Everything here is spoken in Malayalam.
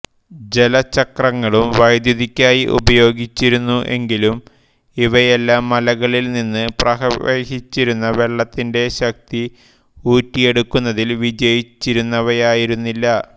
ജലച്ചക്രങ്ങളും വൈദ്യുതിക്കായി ഉപയോഗിച്ചിരുന്നു എങ്കിലും അവയെല്ലാം മലകളിൽ നിന്ന് പ്രവഹിച്ചിരുന്ന വെള്ളത്തിൻ്റെ ശക്തി ഊറ്റിയെടുക്കുന്നതിൽ വിജയിച്ചിരുന്നവയായിരുന്നില്ല